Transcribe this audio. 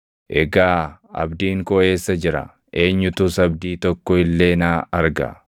egaa abdiin koo eessa jira? Eenyutus abdii tokko illee naa arga?